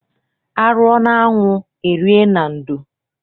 A rụọ n'anwụ e rie na ndo.